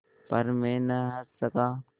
पर मैं न हँस सका